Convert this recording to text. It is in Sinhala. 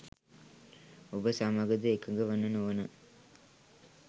ඔබ සමගද එකඟ වන නොවන